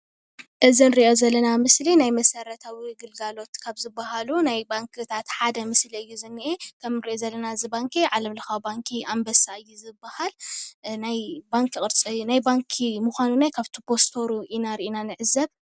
እዚ እንሪኦ ዘለና ምስሊ ናይ መሰረታዊ ግልጋሎት ካብ ዝበሃሉ ናይ ባንኪታት ሓደ ምስሊ እዩ ዝኒሀ። ከም እንሪኦ ዘለና እዚ ባንኪ ዓለም ለካዊ ባንኪ ኣንበሳ እዩ ዝበሃል ። ናይ ባንኪ ቅርፂ ናይ ባንኪ ምኳኑ ካብቲ ፕስተሩ ሪኢና ኢና ንዕዘብ።